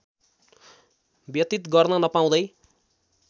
व्यतीत गर्न नपाउँदै